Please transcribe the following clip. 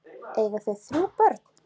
Eiga þau þrjú börn.